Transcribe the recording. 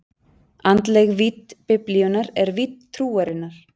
Andleg vídd Biblíunnar er vídd trúarinnar.